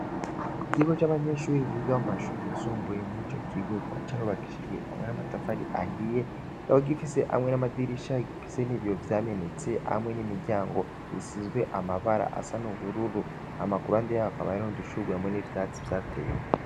Igiko c'abanyenshiubiri biga mu mashuriyisumbuye mw''ico kigokama carobakishijwe hamwe n'amatafari ahiye kabo gifise hamwe n'amadirishara gifise n'iviyo vyamenetse hamwe n'imiryango isizwe amabara asa n'ubururu amakuru andeyakaba yarinondushurwe amwe n'ivyatsi vyatewa.